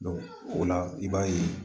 o la i b'a ye